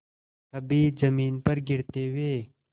कभी जमीन पर गिरते हुए